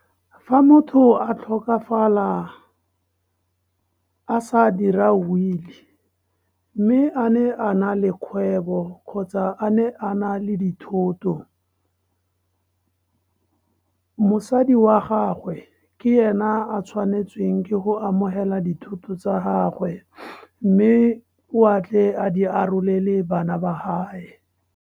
Fa motho a tlhokafala a sa dira will-e, mme a ne a na le kgwebo kgotsa a ne a na le dithoto, mosadi wa gagwe, ke ena a tshwanetsweng ke go amogela dithuto tsa gagwe. Mme o a tle a di arolele bana ba gae.